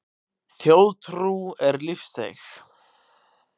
Þjóðtrú er lífseig.